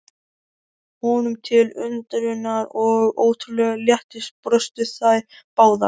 Honum til undrunar og ótrúlegs léttis brostu þær báðar.